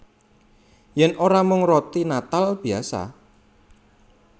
Yèn ora mung roti natal biyasa